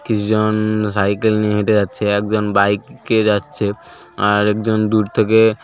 কি জন সাইকেল নিয়ে হেঁটে যাচ্ছে একজন বাইক -এ যাচ্ছে আর একজন দূর থেকে--